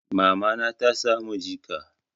Mamana ta samu jika.